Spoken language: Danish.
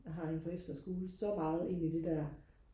jeg har en på efterskole så meget ind i det der